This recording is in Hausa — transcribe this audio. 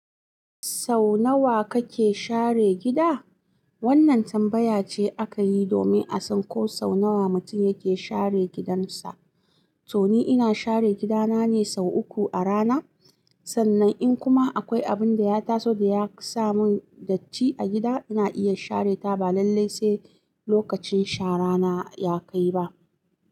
Sau nawa kake share gida? Wannan tambaya ce aka yi domin a san ko sau nawa mutum yake share gidansa. To ni ina share gidana ne sau uku a rana. Sannan in kuma akwai abin da ya taso da ya sa mun datti a gida, ina iya share ta balalle sai lokacin shara na ya kai ba.